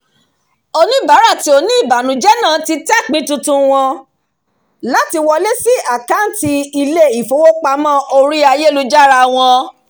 oníbàárà tí ó ní ìbànújẹ náà ti tẹ pin tuntun wọn láti wọlé sí àkàǹtì ilé-ifowopamọ́ orí ayélujára wọn